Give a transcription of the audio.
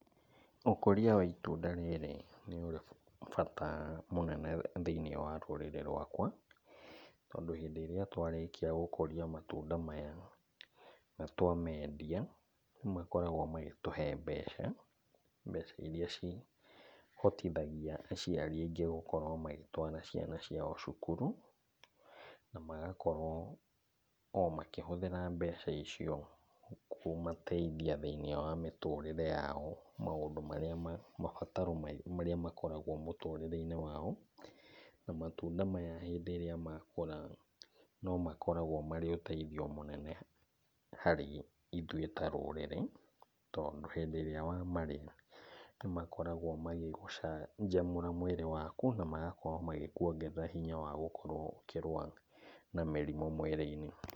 Ũkũria wa itunda rĩrĩ nĩũrĩ bata mũnene thĩiniĩ wa rũrĩrĩ rwakwa, tondũ hĩndĩ ĩrĩa twarĩkia gũkũria matunda maya na twamendia, makoragwo magĩtũhe mbeca. Mbeca iria cihotithagia aciari aingĩ gũkorwo magĩtwara ciana ciao cukuru, na magakorwo o makĩhũthĩra mbeca icio kũmateithia thĩiniĩ wa mĩtũrĩre yao, maũndũ marĩa mabataro marĩa makoragwo mũtũrĩre-inĩ wao, na matunda maya hĩndĩ ĩrĩa makũra no makoragwo marĩ ũteithio mũnene harĩ ithuĩ ta rũrĩrĩ, tondũ hĩndĩ ĩrĩa wamarĩa, nĩmakoragwo magĩgũcanjamũra mwĩrĩ waku na magakorwo magĩkuongerera hinya wa gũkorwo ũkĩrũa na mĩrimũ mwĩrĩ-inĩ.